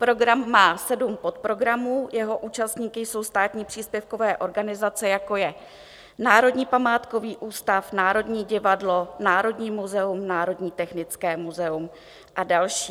Program má sedm podprogramů, jeho účastníky jsou státní příspěvkové organizace, jako je Národní památkový ústav, Národní divadlo, Národní muzeum, Národní technické muzeum a další.